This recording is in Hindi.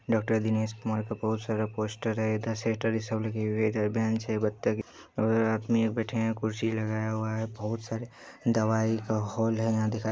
डॉक्टर दिनेश कुमार का बहुत सारा पोस्टर है इधर शेटर सब लगे हुए इधर बेंच है और आदमी बैठे है कुर्सी लगाया हुआ है बहुत सारी दवाई का हॉल है यहां दिखाई--